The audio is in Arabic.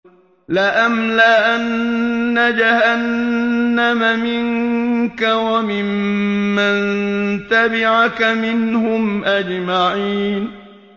لَأَمْلَأَنَّ جَهَنَّمَ مِنكَ وَمِمَّن تَبِعَكَ مِنْهُمْ أَجْمَعِينَ